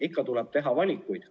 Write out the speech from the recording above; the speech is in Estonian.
Ikka tuleb teha valikuid.